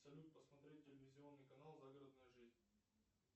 салют посмотреть телевизионный канал загородная жизнь